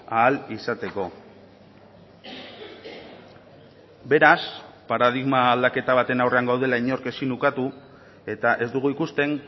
ahal izateko beraz paradigma aldaketa baten aurrean gaudela inork ezin ukatu eta ez dugu ikusten